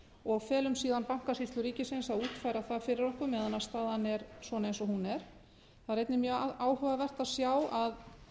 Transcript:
og felum síðan bankasýslu ríkisins að útfæra það fyrir okkur meðan staðan er svona eins og hún er það er einnig mjög áhugavert að sjá að